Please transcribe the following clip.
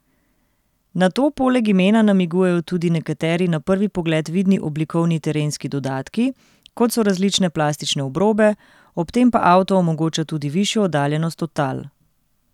Na to poleg imena namigujejo tudi nekateri na prvi pogled vidni oblikovni terenski dodatki, kot so različne plastične obrobe, ob tem pa avto omogoča tudi višjo oddaljenost od tal.